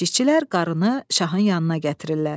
Keşikçilər qarınını şahın yanına gətirirlər.